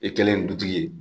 E kɛlen ye dutigi ye